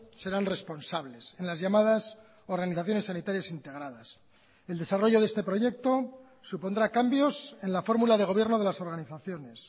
serán responsables en las llamadas organizaciones sanitarias integradas el desarrollo de este proyecto supondrá cambios en la fórmula de gobierno de las organizaciones